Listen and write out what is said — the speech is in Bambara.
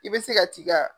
I bɛ se ka t'i ka